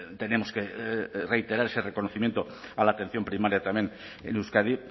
tenemos que reiterar ese reconocimiento a la atención primaria también en euskadi